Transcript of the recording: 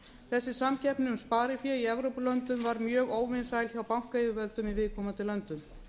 þessi samkeppni um sparifé í evrópulöndum var mjög óvinsæl hjá bankayfirvöldum í viðkomandi löndum